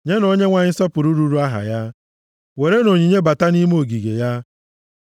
Nyenụ Onyenwe anyị nsọpụrụ ruuru aha ya; werenụ onyinye bata nʼime ogige ya.